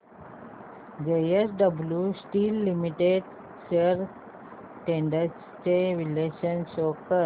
JSW steel limited shares trends चे विश्लेषण show कर